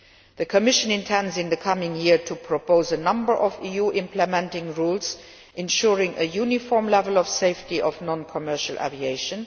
The Commission intends in the coming year to propose a number of EU implementing rules ensuring a uniform level of safety of non commercial aviation.